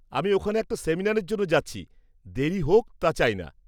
আমি ওখানে একটা সেমিনারের জন্য যাচ্ছি, দেরি হোক তা চাই না।